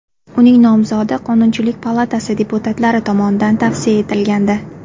Uning nomzodi Qonunchilik palatasi deputatlari tomonidan tavsiya etilgandi .